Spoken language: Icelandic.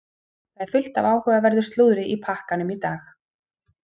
Það er fullt af áhugaverðu slúðri í pakkanum í dag.